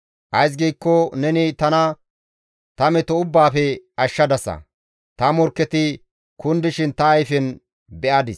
Ays giikko neni tana ta meto ubbaafe ashshadasa; ta morkketi kundishin ta ayfen beyadis.